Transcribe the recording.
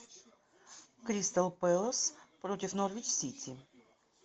кристал пэлас против норвич сити